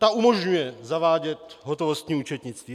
Ta umožňuje zavádět hotovostní účetnictví.